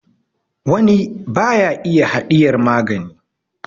wani ba ya iya hadiyar magani